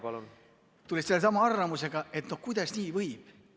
Nad tulid sellesama arvamusega, et kuidas nii võib.